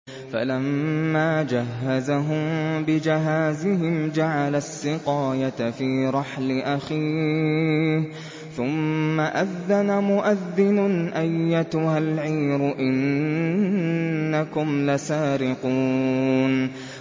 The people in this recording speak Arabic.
فَلَمَّا جَهَّزَهُم بِجَهَازِهِمْ جَعَلَ السِّقَايَةَ فِي رَحْلِ أَخِيهِ ثُمَّ أَذَّنَ مُؤَذِّنٌ أَيَّتُهَا الْعِيرُ إِنَّكُمْ لَسَارِقُونَ